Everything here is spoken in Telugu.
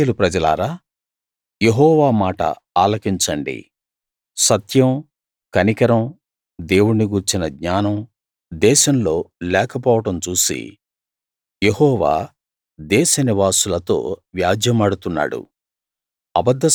ఇశ్రాయేలు ప్రజలారా యెహోవా మాట ఆలకించండి సత్యం కనికరం దేవుణ్ణి గూర్చిన జ్ఞానం దేశంలో లేకపోవడం చూసి యెహోవా దేశనివాసులతో వ్యాజ్యెమాడుతున్నాడు